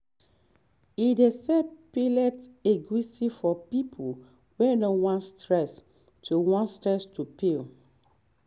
e dey sell peeled egusi for people wey no wan stress to wan stress to peel